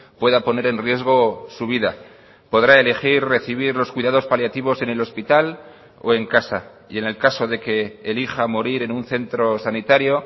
pueda poner en riesgo su vida podrá elegir recibir los cuidados paliativos en el hospital o en casa y en el caso de que elija morir en un centro sanitario